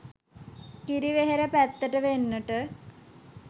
කිරිවෙහෙර පැත්තට වෙන්නට